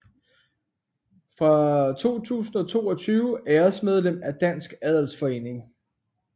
Fra 2022 æresmedlem af Dansk Adelsforening